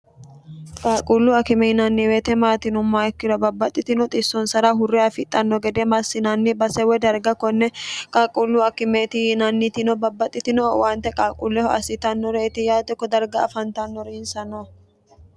qaalquullu akime yinanniweete maati yinummaha ikkiro babbaxxitino xissonsara hurre afidhanno gede massinanni basewe darga konne qaqquullu akimeeti yiinannitino babbaxxitino owaante qalquulleho assitannore iti yaate kodarga afantannori insa no